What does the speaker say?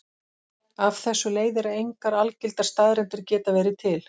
Af þessu leiðir að engar algildar staðreyndir geta verið til.